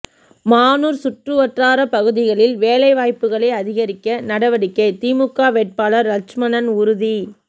மானூர் சுற்றுவட்டார பகுதிகளில் வேலை வாய்ப்புகளை அதிகரிக்க நடவடிக்கை திமுக வேட்பாளர் லட்சுமணன் உறுதி